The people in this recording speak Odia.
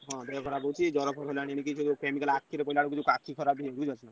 ହଁ ଦେହ ଖରାପ ହଉଛି ଜର ଫର,